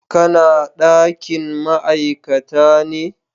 Ka na dakin ma'aikata ne?